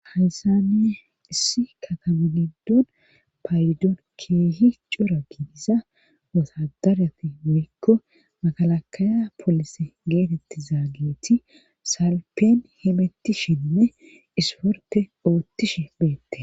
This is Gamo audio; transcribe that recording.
haysane issi kataminidon payidoon keehi cora kidiza wosadarati mikko makalakaya poolis geetetti zaageeti salpeen himettishinne isporpe oottishe beette